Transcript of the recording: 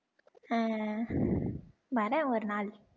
அஹ் வரேன் ஒரு நாள்